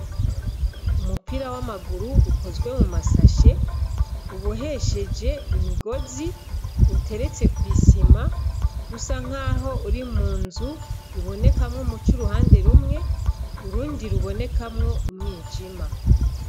Umupira w'amaguru ukozwe mu mashashe ubohesheje imigozi uteretse kw'isima usa nkaho uri munzu uboneka nk umuco uruhande rumwe, urundi rubonekamwo umwijima.